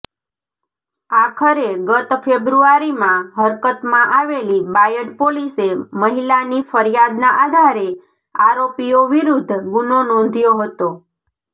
આખરે ગત ફેબ્રુઆરીમાં હરકતમાં આવેલી બાયડ પોલીસે મહિલાની ફરિયાદના આધારે આરોપીઓ વિરૂદ્ધ ગુનો નોંધ્યો હતો